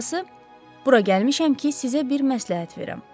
Qısası, bura gəlmişəm ki, sizə bir məsləhət verəm.